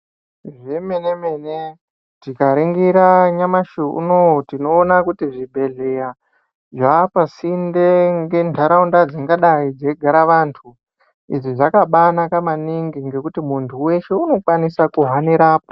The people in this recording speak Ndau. Zvemene-mene tikaringira nyamashi unouyu tinoona kuti zvibhedhleya zvapasinde ngentaraunda dzingadai dzeigara vantu. Izvi zvakabanaka maningi ngekuti muntu veshe unokwanisa kuhanirapo.